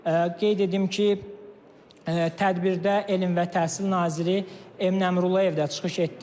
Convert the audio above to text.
Qeyd edim ki, tədbirdə elm və təhsil naziri Emin Əmrullayev də çıxış etdi.